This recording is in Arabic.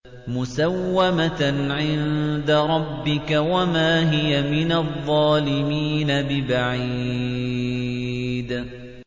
مُّسَوَّمَةً عِندَ رَبِّكَ ۖ وَمَا هِيَ مِنَ الظَّالِمِينَ بِبَعِيدٍ